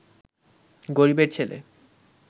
গরীবের ছেলে